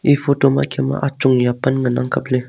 e photo ma kem mang achung ya pan ngan ang kaple.